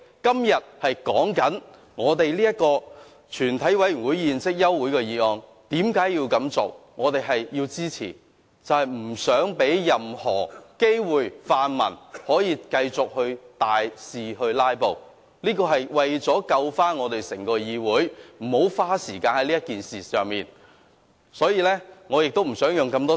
今天我們討論休會待續議案，為何要提出，我們要支持議案，是不想讓泛民有任何機會繼續大肆"拉布"，這是為了避免整個議會再花時間在這件事情上，我亦不想再多花時間。